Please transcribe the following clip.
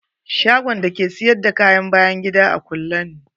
Shagon da ke sayar da kayan bayan gida a kulle ne.